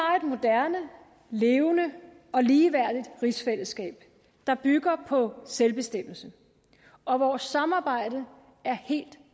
har et moderne levende og ligeværdigt rigsfællesskab der bygger på selvbestemmelse og vores samarbejde er helt